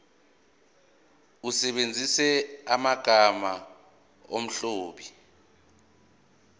usebenzise amagama omlobi